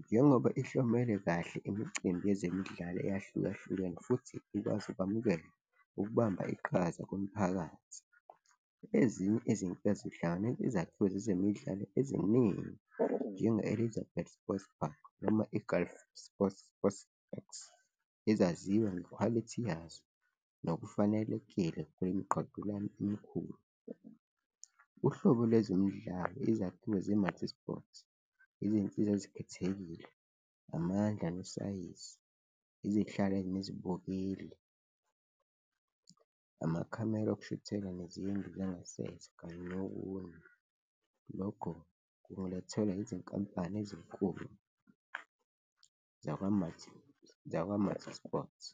njengoba ihlomele kahle imicimbi yezemidlalo eyahlukahlukene futhi ikwazi ukwamukela ukubamba iqhaza kumphakathi. Ezinye izinto zihlanganisa izakhiwo zezemidlalo eziningi, njenge-Elizabeth Sports Park noma i-Gulf Sports X, ezaziwa ngekhwalithi yazo nokufanelekile kwemiqhudelwano emikhulu, uhlobo lwezimidlalo, izakhiwo ze-MultiSports, izinsiza ezikhethekile, amandla nosayizi, izihlakani nezibukeli, amakhamera okushuthela nezindlu zangasese kanye nokunye, lokho kungalethelwa izinkampani ezinkulu zakwa-MultiSports.